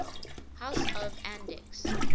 house of andechs